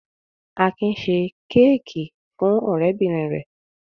Akin ṣe kéékì fún ọ̀rẹ́bìnrin rẹ̀.